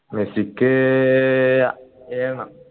മെസ്സിക്ക് ഏഴണം